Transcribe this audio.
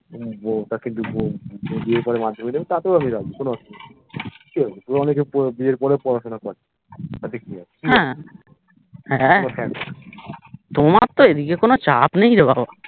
বিয়ের পরে মাধ্যমিক দেবে তাতেও আমি রাজি কোনো অসুবিধা নেই কিহবে অনেকে বিয়ের পরেও পড়াশোনা করে তাতে কি আছে হ্যা তোমার তো এদিকে কোনো চাপ নেইরে বাবা